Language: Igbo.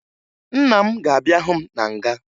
Nna m ga-abịa hụ m na nga